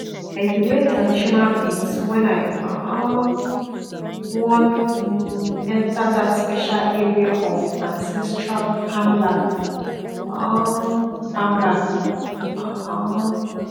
i dey wear traditional beads when i um wan um enter that special area of ancestral farmland um farmland um